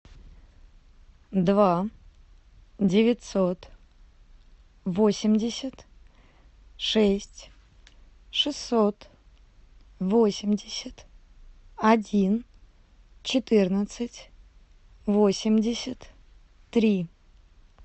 два девятьсот восемьдесят шесть шестьсот восемьдесят один четырнадцать восемьдесят три